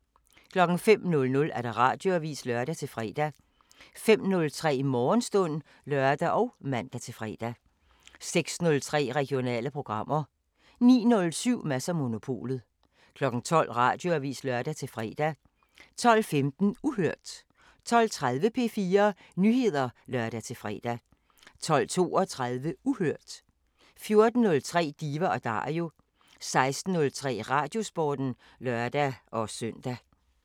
05:00: Radioavisen (lør-fre) 05:03: Morgenstund (lør og man-fre) 06:03: Regionale programmer 09:07: Mads & Monopolet 12:00: Radioavisen (lør-fre) 12:15: Uhørt 12:30: P4 Nyheder (lør-fre) 12:32: Uhørt 14:03: Diva & Dario 16:03: Radiosporten (lør-søn)